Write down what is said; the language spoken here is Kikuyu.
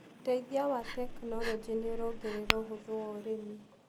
ũteithia wa tekinologĩ nĩũrongerera ũhũthũ wa ũrĩmi.